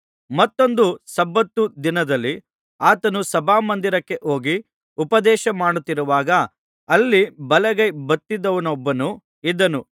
ಮತ್ತೊಂದು ಸಬ್ಬತ್ ದಿನದಲ್ಲಿ ಆತನು ಸಭಾಮಂದಿರಕ್ಕೆ ಹೋಗಿ ಉಪದೇಶಮಾಡುತ್ತಿರುವಾಗ ಅಲ್ಲಿ ಬಲಗೈ ಬತ್ತಿದವನೊಬ್ಬನು ಇದ್ದನು